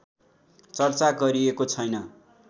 चर्चा गरिएको छैन